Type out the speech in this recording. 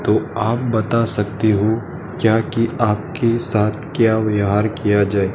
तो आप बता सकते हो क्या कि आप के साथ क्या व्यहार किया जाए।